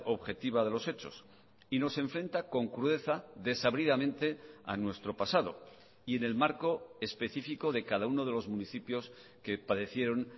objetiva de los hechos y nos enfrenta con crudeza desabridamente a nuestro pasado y en el marco específico de cada uno de los municipios que padecieron